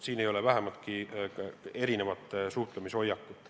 Siin ei ole vähimatki erinevat suhtumist.